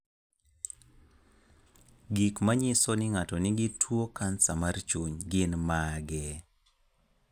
Gik manyiso ni ng'ato nigi tuo kansa mar chuny gin mage?